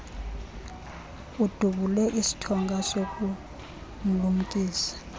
udubule isithonga sokumlumkisa